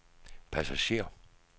passager